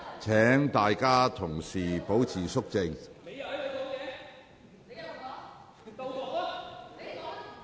請議員保持肅靜。